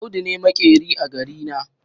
Audu ne maƙeri a garina.